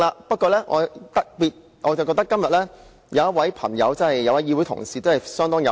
不過，我認為今天議會內某位同事相當有趣。